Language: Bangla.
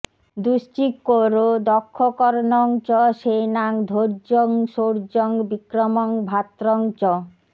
দুশ্চিক্যোরো দক্ষকর্ণং চ সেনাং ধৈর্যং শৌর্যং বিক্রমং ভ্রাত্রং চ